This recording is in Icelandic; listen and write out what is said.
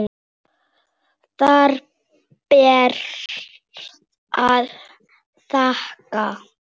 Það ber að þakka.